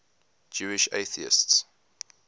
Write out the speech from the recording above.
jewish atheists